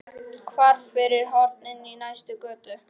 Hvarf fyrir horn inn í næstu götu.